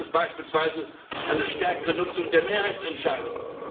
Und dabei bedarf es beispielsweise einer stärkeren Nutzung der Mehrheitsentscheidung.